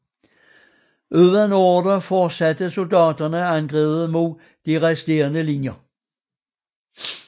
Uden ordre fortsatte soldaterne angrebet mod de resterende linjer